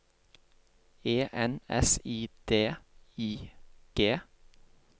E N S I D I G